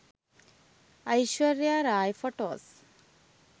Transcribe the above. aishwarya rai photos